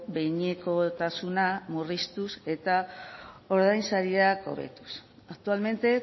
behinekotasuna murriztuz eta ordainsariak hobetuz actualmente